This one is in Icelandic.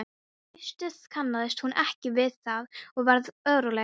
Í fyrstu kannaðist hún ekki við það og varð óróleg.